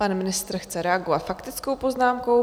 Pan ministr chce reagovat faktickou poznámkou.